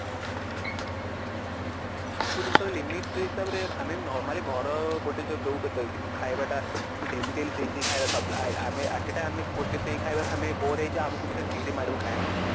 ସବୁ ଜିନିଷ limit ହିସାବରେ ଆମେ normally ଘର ଗୋଟେ ଯୋଉ ଖାଇବାଟା ଆମେ daily daily ସେଇ ସେଇ ଖାଇବା ଖାଉଥିଲେ at a time ଗୋଟେ ସେଇ ଖାଇବା ଆମେ bore ହେଇକି ଆମକୁ ବି ସେଇଟା ଚିଡି ମାଡିବ ଖାଇଲା ପାଇଁ